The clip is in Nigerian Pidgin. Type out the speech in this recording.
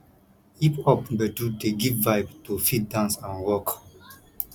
hip pop gbedu dey give vibe to fit dance and rock